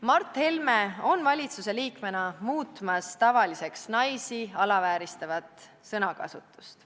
" Mart Helme on valitsusliikmena muutmas tavaliseks naisi alavääristavat sõnakasutust.